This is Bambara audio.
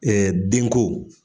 den ko